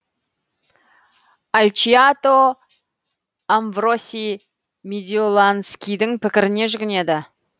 альчиато амвро сий медиоланскийдің пікіріне жүгінеді